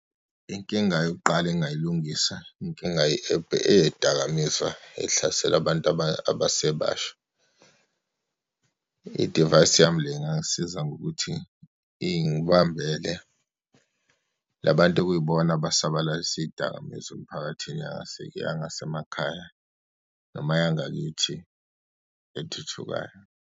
Inkinga yokuqala engingayilungisa, inkinga eyeyidakamizwa, ehlasele abantu abasebasha. Idivayisi yami le ingangisiza ngokuthi ingibambela la bantu okuyibona abesabalalisa iyidakamizwa emphakathini yangasemakhaya noma yangakithi ethuthukayo.